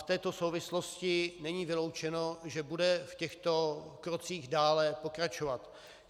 V této souvislosti není vyloučeno, že bude v těchto krocích dále pokračovat.